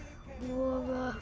og